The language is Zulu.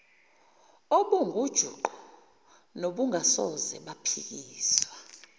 obungujuqu nobungasoze baphikiswa